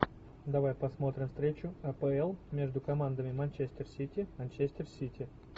давай посмотрим встречу апл между командами манчестер сити манчестер сити